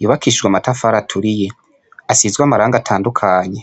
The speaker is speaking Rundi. yubakishijwe amatafara aturiye asizwe amarango atandukanye.